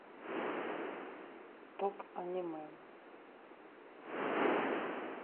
топ аниме